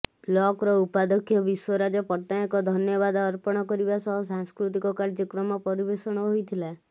କ୍ଲବର ଉପାଧ୍ୟକ ବିଶ୍ୱରାଜ ପଟ୍ଟନାୟକ ଧନ୍ୟବାଦ ଅର୍ପଣ କରିବା ସହ ସାଂସ୍କୃତିକ କାର୍ଯ୍ୟକ୍ରମ ପରିବେଷଣ ହୋଇଥିଲା